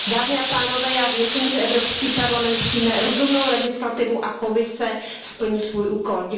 Dámy a pánové, já věřím, že Evropský parlament přijme rozumnou legislativu a Komise splní svůj úkol.